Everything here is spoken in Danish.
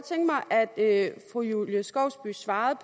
at fru julie skovsby svarer